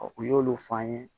u y'olu fɔ an ye